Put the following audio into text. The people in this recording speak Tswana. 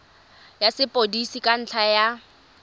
ya sepodisi ka ntlha ya